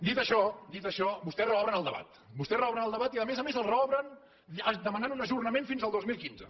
dit això dit això vostès reobren el debat vostès reobren el debat i a més a més el reobren demanant un ajornament fins al dos mil quinze